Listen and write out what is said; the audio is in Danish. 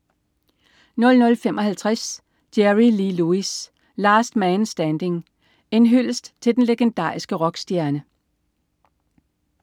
00.55 Jerry Lee Lewis. Last Man Standing. En hyldest til den legendariske rockstjerne